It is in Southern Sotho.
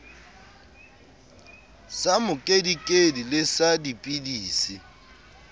sa mokedikedi le sa dipidisi